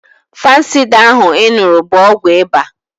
Fansida ahụ ị ṅụrụ bụ ọgwụ ịba